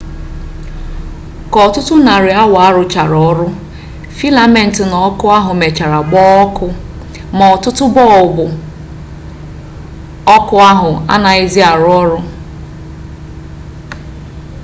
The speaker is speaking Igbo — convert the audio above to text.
ka ọtụtụ narị awa a rụchara ọrụ filament na ọkụ ahụ mechara gbaa ọkụ ma bọlbụ ọkụ ahụ anaghịzi arụ ọrụ